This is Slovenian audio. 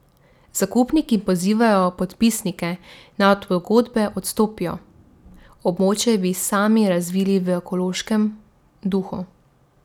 Zakupniki pozivajo podpisnike, naj od pogodbe odstopijo, območje bi sami razvili v ekološkem duhu.